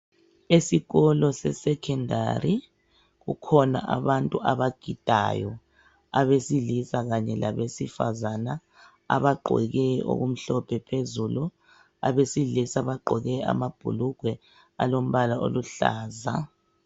Esikolo sesecondary. Bakhona abantu abagidayo. Abesilisa kanye abesifazana. Abagqoke okumhlophe phezulu. Abesilisa bagqoke amabhulugwe, alombala oluhlaza.